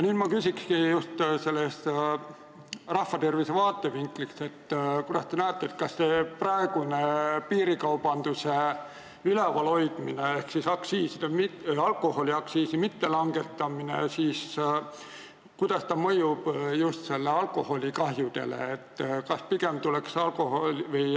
Ma küsingi rahvatervise vaatevinklist: mida te arvate, kuidas see praegune piirikaubanduse ülevalhoidmine ehk alkoholiaktsiisi mittelangetamine mõjub just alkoholikahjudele?